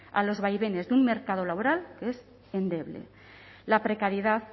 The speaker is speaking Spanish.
a los vaivenes de un mercado laboral que es endeble la precariedad